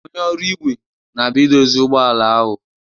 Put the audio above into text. Onye ọrụ igwe na-abia idozi ụgbọ ala ahụ